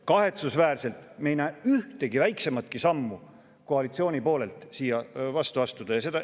Kahetsusväärselt me ei näe, et koalitsioon tahaks ühtegi väiksematki sammu vastu astuda.